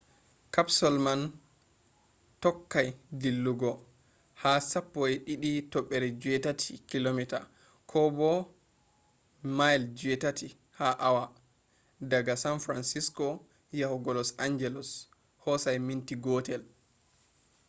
capsule man tokkai dillugo ha 12.8km kobo 8 miles ha hour daga san francisco yahugo los angelos hosai minti gootel